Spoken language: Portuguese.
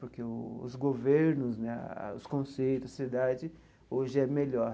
Porque os governos né, os conceitos, a sociedade hoje é melhor.